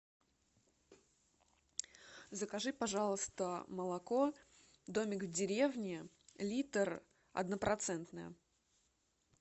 закажи пожалуйста молоко домик в деревне литр однопроцентное